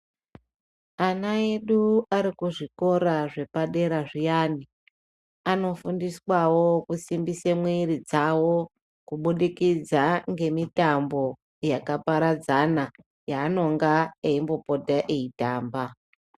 Ana edu ari kuzvikora zvepadera zviyani, anofundiswawo kusimbise mwiri dzavo, kuburikidza ngemitambo yakapadzana yaanonga eyimbopota eyitamba.